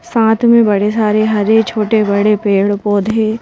साथ में बड़े सारे हरे छोटे-बड़े पेड़-पौधे--